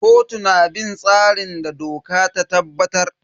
Kotu na bin tsarin da doka ta tabbatar.